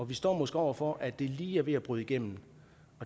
vi står måske over for at det lige er ved at bryde igennem